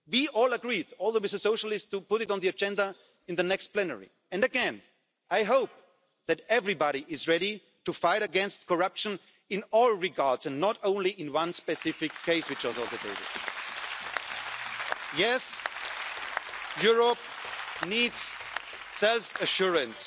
We all agreed, including the Socialists, to put this on the agenda in the next plenary, and again I hope that everybody is ready to fight against corruption in all regards and not only in one specific case that is on the table. Yes, Europe needs self assurance